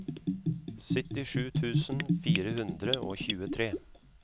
syttisju tusen fire hundre og tjuetre